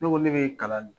Ne ko ne bɛ kalan